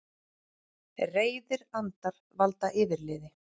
Reiðir andar valda yfirliði